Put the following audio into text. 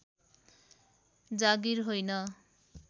जागीर होइन